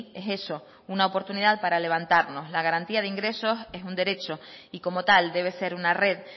es eso una oportunidad para levantarnos la garantía de ingresos es un derecho y como tal debe ser una red